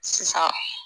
Sisan